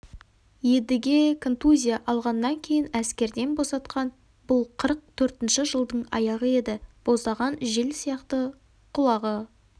едіге контузия алғаннан кейін әскерден босатқан бұл қырық төртінші жылдың аяғы еді боздаған жел сияқты құлағы